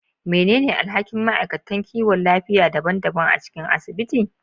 Menene alhakin ma'aikatan kiwon lafiya daban-daban a cikin asibiti?